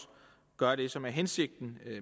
gør det som er hensigten